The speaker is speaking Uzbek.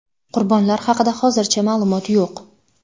Qurbonlar haqida hozircha ma’lumot yo‘q.